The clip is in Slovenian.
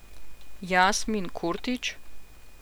Jasmin Kurtić?